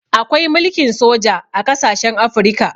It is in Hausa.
Akwai mulkin soja a ƙasashen Afirika.